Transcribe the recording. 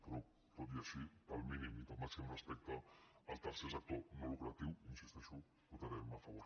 però tot i així pel mínim i pel màxim respecte al ter·cer sector no lucratiu hi insisteixo hi votarem a favor